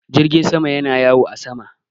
Jirgin sama yana yawo a sama.